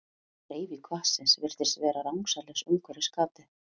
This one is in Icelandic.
Hreyfing vatnsins virðist því vera rangsælis umhverfis gatið.